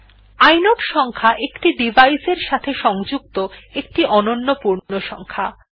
inode সংখ্যা একটি device এর সাথে সংযুক্ত একটি অনন্য পূর্ণসংখ্যা